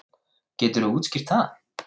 Geturðu útskýrt það?